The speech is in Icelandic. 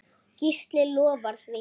Gísli lofar því.